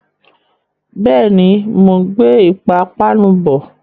Bẹ́ẹ̀ni, mò ń gbé ìpapánu bọ̀.